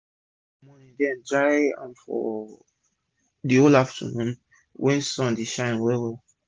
we dey wash for morning den dry am for d whole of afternoon wen sun dey shine well well